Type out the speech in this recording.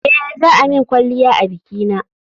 Eh, za a min kwalliya a bikina